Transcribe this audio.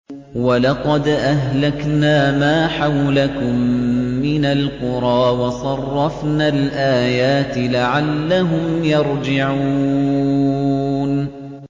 وَلَقَدْ أَهْلَكْنَا مَا حَوْلَكُم مِّنَ الْقُرَىٰ وَصَرَّفْنَا الْآيَاتِ لَعَلَّهُمْ يَرْجِعُونَ